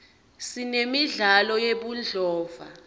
sinemidlalo yebudlova